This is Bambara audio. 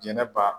Jɛnɛba